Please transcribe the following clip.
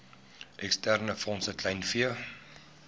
eksterne fondse kleinvee